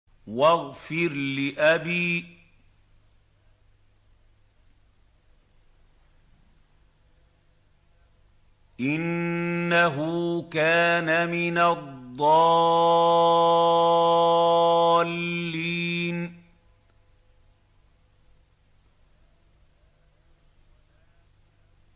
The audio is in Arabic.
وَاغْفِرْ لِأَبِي إِنَّهُ كَانَ مِنَ الضَّالِّينَ